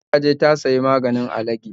Tu kun nan dai, ta je ta siya maganin alagi